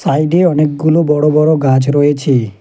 Side -এ অনেকগুলো বড় বড় গাছ রয়েছে।